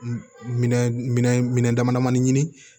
Minɛn minɛn dama damani ɲini